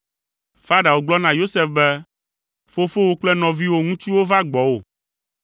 Farao gblɔ na Yosef be, “Fofowò kple nɔviwò ŋutsuwo va gbɔwò,